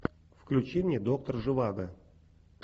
включи мне доктор живаго